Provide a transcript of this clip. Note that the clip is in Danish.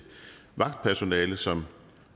vagtpersonale som